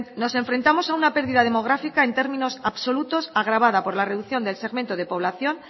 nos enfrentamos a una pérdida demográfica en términos absolutos agravada por la reducción del segmento de población